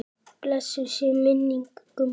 Blessuð sé minning Gumma.